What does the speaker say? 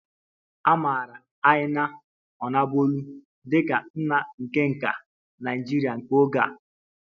A maara Aina onabolu dị ka nna nke nka Naịjirịa nke oge a